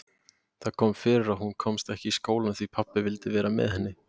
Það kom fyrir að hún komst ekki í skólann því pabbi vildi vera með henni.